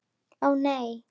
Ó, nei.